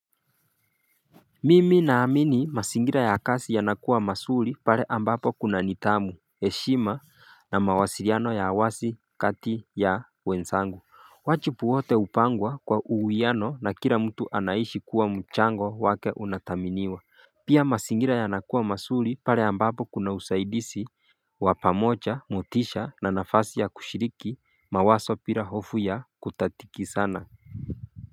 Mimi naamini mazingira ya kazi yanakuwa mazuri pale ambapo kuna nidhamu, heshima na mawasiliano ya uwazi kati ya wenzangu. Wajibu wote hupangwa kwa uwiano na kila mtu anahisi kuwa mchango wake unathaminiwa. Pia mazingira yanakuwa mazuri pale ambapo kuna usaidizi, kwa pamoja, motisha na nafasi ya kushiriki, mawazo bila hofu ya kukatizana.